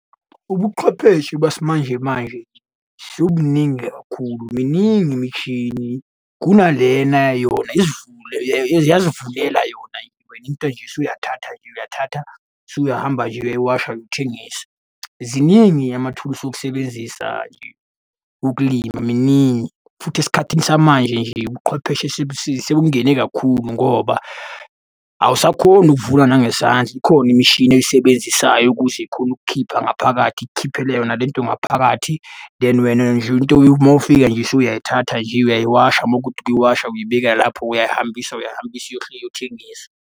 Ubuchwepheshe basimanje manje sebubuningi kakhulu. Miningi imishini kunalena yona isivule yazivulela yona. Wena into nje usuyathatha nje uyathatha, usuyahamba nje uyayiwashaya ukuthengisa. Ziningi amathulusi okusebenzisa nje ukulima miningi, futhi esikhathini samanje nje ubuqhwepheshe sebungene kakhulu ngoba awusakhoni ukuvuna nangesandla ikhona imishini oyisebenzisayo ukuze ikhone ukukhipha ngaphakathi ikukhiphele yona le nto ngaphakathi, then wena nje into uma ufika nje usuyayithatha nje uyayiwasha uma kuwukuthi ukuyiwasha uyibeka lapho uyahambisa uyahambisa iyothengiswa.